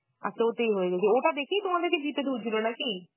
আর ওতেই হয়ে গেছিলো, ওটা দেখেই তোমাদেরকে jeep এ তুলছিল নাকি?